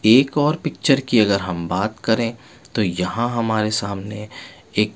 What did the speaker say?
एक और पिक्चर की अगर हम बात करे तो यहाँ हमारे सामने एक --